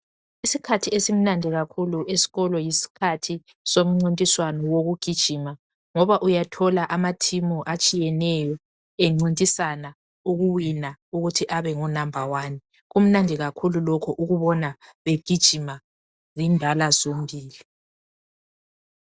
Isikhathi esimnandi kakhulu esikolo yisikhathi somncintiswano wokugijima ngoba uyathola amathimu atshiyeneyo encintisana ukuwina ukuthi abe ngunamba wani kumnandi kakhulu lokho ukubona begijima zindala zombili.